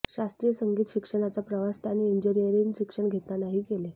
शास्त्रीय संगीत शिक्षणाचा प्रवास त्यांनी इंजिनीयरिंगचे शिक्षण घेतानाही केले